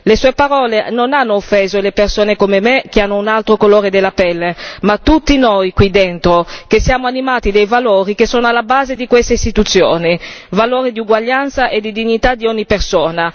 Le sue parole non hanno solo offeso le persone come me, che hanno un altro colore della pelle, ma tutti noi qui dentro che siamo animati dai valori che sono alla base di queste Istituzioni, i valori di uguaglianza e di dignità di ogni persona.